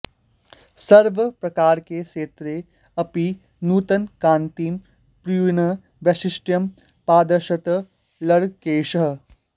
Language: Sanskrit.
सर्वप्रकारके क्षेत्रे अपि नूतनकान्तिं पूरयन् वैशिष्ट्यं प्रादर्शयत् लङ्केशः